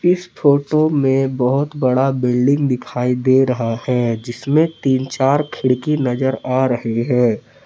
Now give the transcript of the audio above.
इस फोटो में बहुत बड़ा बिल्डिंग दिखाई दे रहा है जिसमें तीन-चार खिड़की नजर आ रही है।